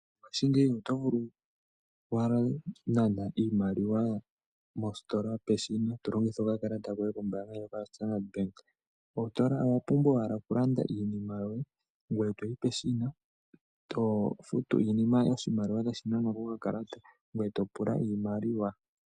Mongashingeyi oto vulu owala okunana iimaliwa mositola peshina tolongitha okakalata koye kombaanga ndjoka yoStandard bank. Owapumba owala okulanda iinima yoye, ngoye toyi peshina, tofutu iinima oshimaliwa toshinanwa kokakalata, ngoye topula iimaliwa.